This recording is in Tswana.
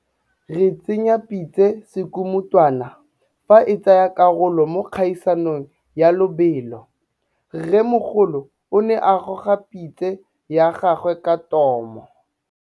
Re tsenya pitse sekumutwana fa e tsaya karolo mo kgaisano ya lobelo. Rrêmogolo o ne a gôga pitse ya gagwe ka tômô.